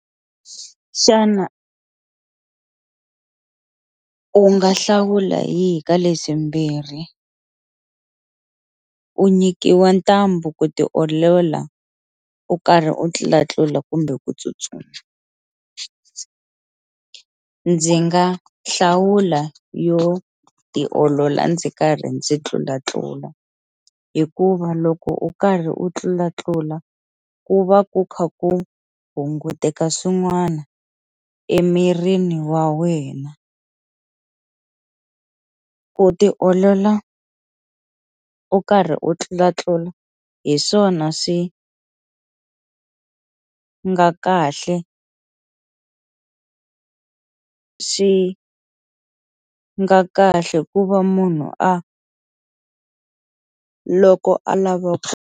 Xana u nga hlawula yihi ka leswi mbirhi u nyikiwa ntambu ku tiolola u karhi u tlulatlula kumbe ku tsutsuma, ndzi nga hlawula yo tiolola ndzi karhi ndzi tlulatlula hikuva loko u karhi u tlulatlula ku va ku kha ku hunguteka swin'wana emirini wa wena ku tiolola u karhi u tlulatlula hi swona swi a nga kahle swi nga kahle ku va munhu a loko a lava ku.